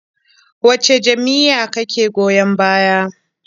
Wace jam'iyya kake goyon baya?